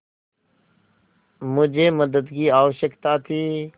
मुझे मदद की आवश्यकता थी